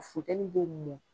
Funteni b'o mɔn.